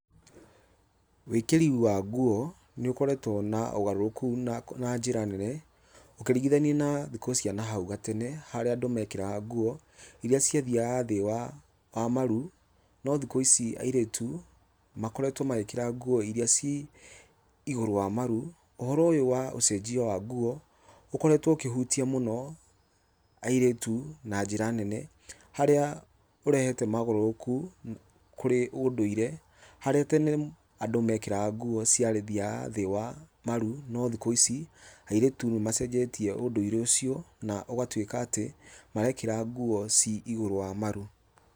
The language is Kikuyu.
Wĩkĩri wa nguo nĩ ũkoretwo na ũgarũrũku na njĩra nene, ũkĩringithania na thikũ cia nahau gatene harĩa andũ mekĩraga nguo iria ciathiaga thĩ wa maru no thikũ ici airĩtu makoretwo magĩkĩra nguo iria ci ĩgũrũ wa maru. ũhoro ũyu wa ũcenjio wa nguo, ũkoretwo ũkĩhutia muno airĩtu na njĩra nene harĩa ũrehete mogarũrũku kũrĩ ũndũire harĩa tene andũ mekĩraga nguo ciathiaga thĩ wa maru no thikũ ici airĩtu nĩ macenjetie ũndũire ũcio na ũgatuĩka atĩ marekĩra nguo ci ĩgũrũ wa maru.